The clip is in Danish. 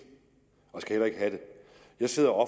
og skal heller ikke have det jeg sidder og